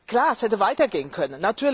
Klar, es hätte weiter gehen können.